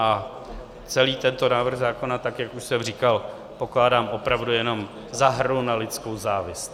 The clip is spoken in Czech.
A celý tento návrh zákona, tak jak už jsem říkal, pokládám opravdu jenom za hru na lidskou závist.